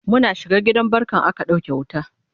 Muna shiga gidan barkan aka ɗauke wuta